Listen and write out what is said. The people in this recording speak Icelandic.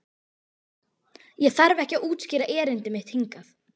Ég þarf ekki að útskýra erindi mitt hingað.